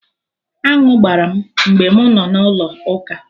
Aṅụ gbara m mgbe mụ nọ na Ụlọ ụka